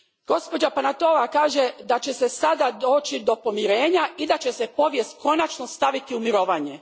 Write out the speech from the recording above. Gospođa Panayotova kaže da će sada doći do pomirenja i da će se povijest konačno staviti u mirovanje.